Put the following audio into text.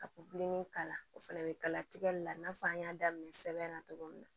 Ka pilinin k'a la o fana bɛ kala tigɛli la i n'a fɔ an y'a daminɛ sɛbɛn na cogo min na